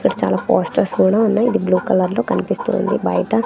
ఇక్కడ చాలా పోస్టర్స్ కూడా ఉన్నాయి అది బ్లూ కలర్ లో కనిపిస్తుంది బయట.